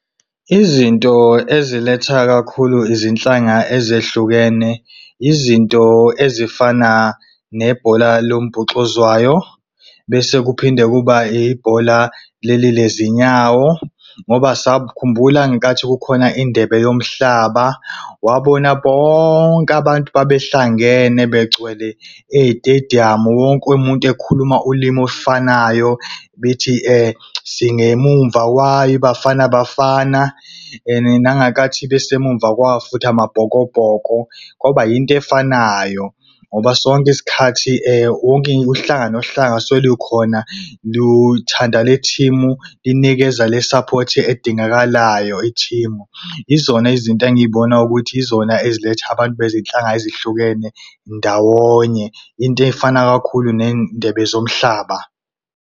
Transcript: Izinto eziletha kakhulu ezinhlanga ezehlukene izinto ezifana nebhola lombhoxozwayo, bese kuphinde kuba ibhola leli lezinyawo. Ngoba khumbula ngenkathi kukhona izindebe yomhlaba, wabona bonke abantu babehlangene begcwele etediyamu wonke umuntu ekhuluma ulimi olufanayo bethi , singemumva kwayo iBafana Bafana. And nangenkathi bese emumva kwawo futhi amaBhokobhoko kwaba into efanayo. Ngoba sonke isikhathi uhlanga nohlanga suke likhona luthanda le thimu linikeza le i-support edingakalayo iteam. Yizona izinto engizibona ukuthi yizona eziletha abantu bezinhlanga ezihlukene ndawonye, into efana kakhulu nendebe zomhlaba.